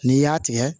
N'i y'a tigɛ